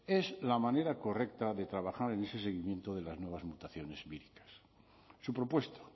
es la manera correcta de trabajar en ese seguimiento de las nuevas mutaciones víricas su propuesta